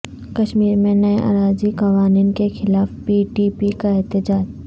کشمیرمیں نئے اراضی قوانین کیخلاف پی ڈی پی کا احتجاج